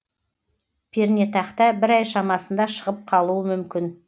пернетақта бір ай шамасында шығып қалуы мүмкін